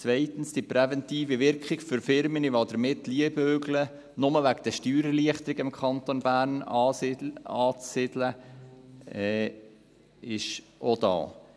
Zweitens: Die präventive Wirkung für Firmen, die damit liebäugeln, sich nur wegen der Steuererleichterung im Kanton Bern anzusiedeln, ist auch da.